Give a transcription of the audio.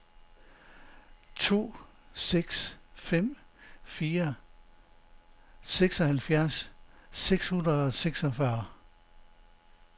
to seks fem fire seksoghalvfjerds seks hundrede og seksogfyrre